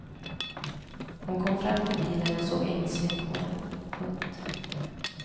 Hon kom fram till bilen och såg ängsligt på den. punkt